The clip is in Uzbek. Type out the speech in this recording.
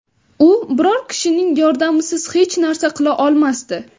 U biror kishining yordamisiz hech narsa qila olmasdi.